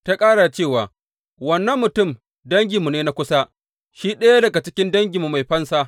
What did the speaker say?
Ta ƙara da cewa, Wannan mutum danginmu ne na kusa; shi ɗaya daga cikin danginmu mai fansa.